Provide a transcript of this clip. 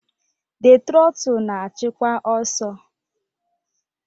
The trotul na-achịkwa ọsọ.